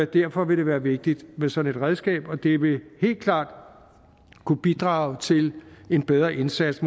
derfor vil det være vigtigt med sådan et redskab og det vil helt klart kunne bidrage til en bedre indsats